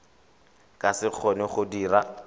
ka se kgone go dira